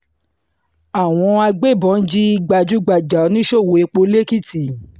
àwọn agbébọn jí gbajúgbajà oníṣòwò epo l'ekìtì